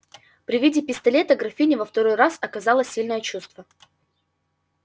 при виде пистолета графиня во второй раз оказала сильное чувство